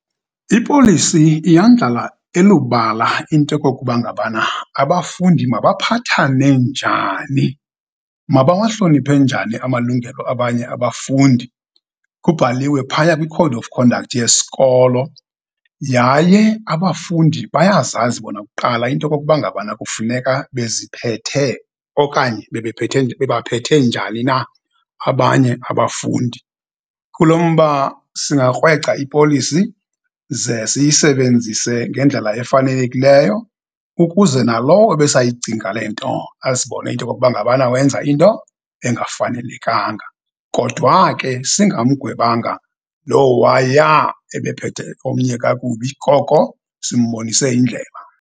Ipolisi iyandlala elubala into yokokuba ngabana abafundi mabaphathane njani, mabawahloniphe njani amalungelo abanye abafundi. Kubhaliwe phaya kwi-code of conduct yesikolo, yaye abafundi bayazazi bona kuqala into yokokuba ngabana kufuneka beziphethe okanye bebaphethe njani na abanye abafundi. Kulo mba singakrweca ipolisi, ze siyisebenzise ngendlela efanelekileyo, ukuze nalowo ebesayacinga le nto azibone into yokokuba ngabana wenza into engafanelekanga. Kodwa ke singamgwebanga lo waya ebephethe omnye kakubi, koko simbonise indlela.